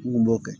N kun b'o kɛ